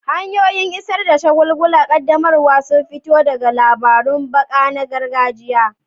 Hanyoyin isar da shagulgulan ƙaddamarwa sun fito ne daga labarun baka na gargajiya.